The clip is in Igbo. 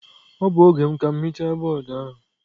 Ọ bụ oge m ka m hichaa bọọdụ ahụ.